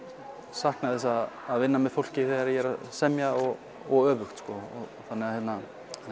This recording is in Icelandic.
sakna þess að vinna með fólki þegar ég er að semja og öfugt þannig að